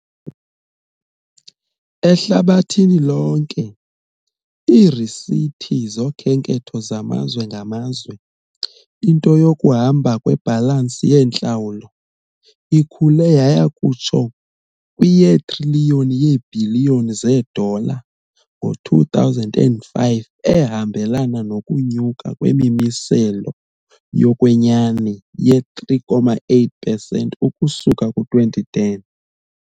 Ehlabathini lonke, iirisithi zokhenketho zamazwe ngamazwe, into yokuhamba kwibhalansi yeentlawulo, ikhule yaya kutsho kwi- yetriliyoni yeebhiliyoni zeedola ngo-2005, ehambelana nokunyuka kwemimiselo yokwenyani ye-3.8 pesenti ukusuka ku-2010